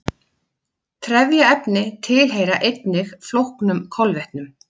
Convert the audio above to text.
trefjaefni tilheyra einnig flóknum kolvetnum